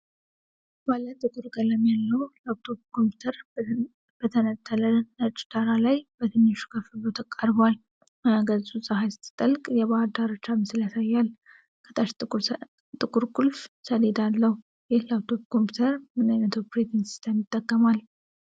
ባለ ጥቁር ቀለም ያለው ላፕቶፕ ኮምፒዩተር በተነጠለ ነጭ ዳራ ላይ በትንሹ ከፍ ብሎ ቀርቧል። ማያ ገጹ ፀሐይ ስትጠልቅ የባሕር ዳርቻ ምስል ሲያሳይ፣ ከታች ጥቁር ቁልፍ ሰሌዳ አለው። ይህ ላፕቶፕ ኮምፒዩተር ምን ዓይነት ኦፕሬቲንግ ሲስተም ይጠቀማል?